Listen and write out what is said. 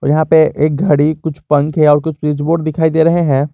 यहां पे एक घड़ी कुछ पंखे और कुछ स्विच बोर्ड दिखाई दे रहे हैं।